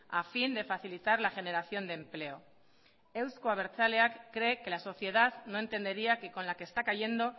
a fin de facilitar la generación de empleo euzko abertzaleak cree que la sociedad no entendería que con la que está cayendo